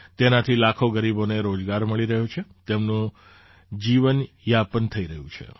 તેનાથી લાખો ગરીબોને રોજગાર મળી રહ્યો છે તેમનું જીવનયાપન થઈ રહ્યું છે